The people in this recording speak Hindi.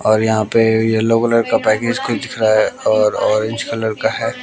और यहां पे येलो कलर का पैकेज कुछ दिख रहा और ऑरेंज कलर का है।